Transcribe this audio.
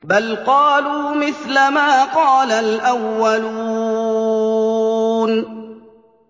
بَلْ قَالُوا مِثْلَ مَا قَالَ الْأَوَّلُونَ